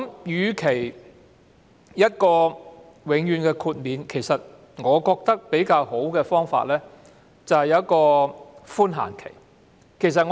與其給予永遠豁免，我認為較好的方法是提供寬限期。